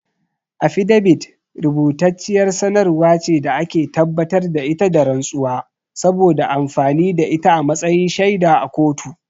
Afidabit rubutacciyar sanarwar ce da ake tabbatar da ita da rantsuwa, saboda amfani da ita a matsayin shaida a kotu.